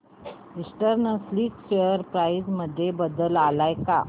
eastern silk share price मध्ये बदल आलाय का